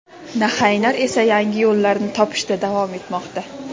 "nahang"lar esa yangi yo‘llarni topishda davom etmoqda.